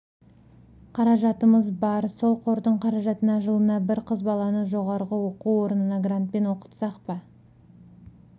қаражатымыз бар сол қордың қаражатына жылына бір қыз баланы жоғарғы оқу орнына грантпен оқытсақ па